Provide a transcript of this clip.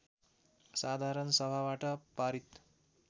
साधारण सभाबाट पारित